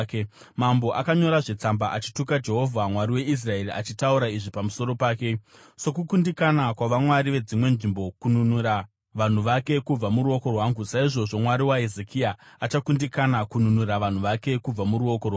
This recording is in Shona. Mambo akanyorazve tsamba achituka Jehovha, Mwari weIsraeri achitaura izvi pamusoro pake: “Sokukundikana kwavamwari vedzimwe nzvimbo kununura vanhu vake kubva muruoko rwangu, saizvozvo mwari waHezekia achakundikana kununura vanhu vake kubva muruoko rwangu.”